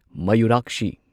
ꯃꯌꯨꯔꯥꯛꯁꯤ